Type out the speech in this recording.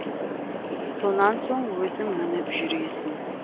сонан соң өзің мініп жүресің